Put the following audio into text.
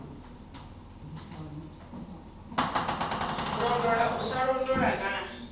londola u sa londola na